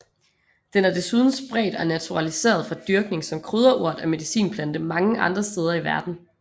Den er desuden spredt og naturaliseret fra dyrkning som krydderurt og medicinplante mange andre steder i verden